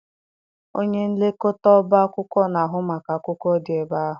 Onye nlekọta ọba akwụkwọ na-ahụ maka akwụkwọ dị ebe ahụ.